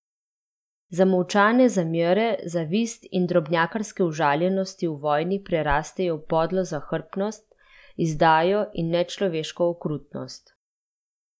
Zamolčane zamere, zavist in drobnjakarske užaljenosti v vojni prerastejo v podlo zahrbtnost, izdajo in nečloveško okrutnost.